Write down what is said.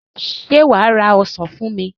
Ṣé wà á ra ọsàn fún mi?